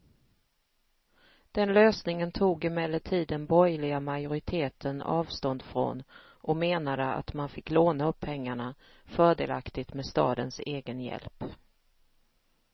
Den lösningen tog emellertid den borgerliga majoriteten avstånd från och menade att man fick låna upp pengarna, fördelaktigt med stadens egen hjälp.